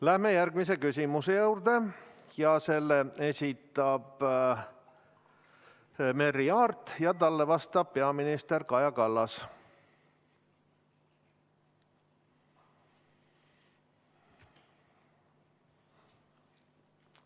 Läheme järgmise küsimuse juurde, selle esitab Merry Aart ja talle vastab peaminister Kaja Kallas.